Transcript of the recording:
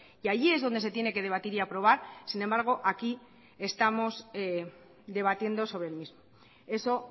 y allí es donde se tiene que debatir y aprobar sin embargo aquí estamos debatiendo sobre el mismo eso